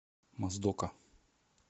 моздока